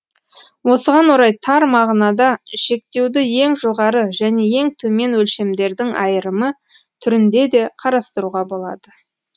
осыған орай тар мағынада шектеуді ең жоғары және ең төмен өлшемдердің айырымы түрінде де қарастыруға болады